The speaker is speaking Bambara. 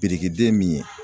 Biriki den min ye.